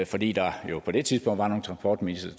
fordi der jo på det tidspunkt var nogle transportministre